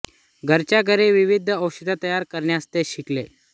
घरच्या घरी विविध औषधे तयार करण्यास ते शिकले